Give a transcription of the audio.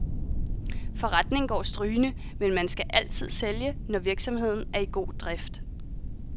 Forretningen går strygende, men man skal altid sælge, når virksomheden er i god drift.